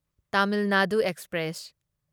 Tamil Nadu express